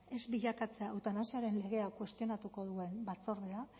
ez bilakatzea eutanasiaren legeak kuestionatuko duen batzordea